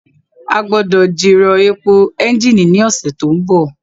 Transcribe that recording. A gbọ́dọ̀ jìrọ̀ èpò ẹ́ńjìnì ní ọ̀sẹ̀ tó ń bọ̀